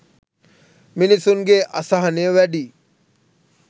මිනිස්සුන්ගේ අසහනය වැඩියි.